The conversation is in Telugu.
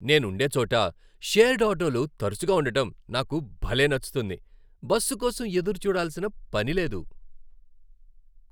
నేను ఉండే చోట షేర్డ్ ఆటోలు తరచుగా ఉండటం నాకు భలే నచ్చుతుంది, బస్సు కోసం ఎదురుచూడాల్సిన పని లేదు.